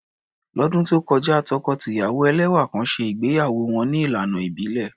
Lọ́dún tó kọjá, tọkọ-tìyàwó ẹlẹ́wà kan ṣe ìgbéyàwó wọn ní ìlànà ìbílẹ̀.